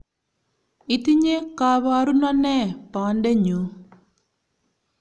Itinye kaboruno nee bondenyuu?